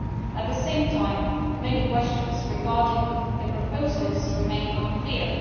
At the same time many questions regarding the proposals remain unclear.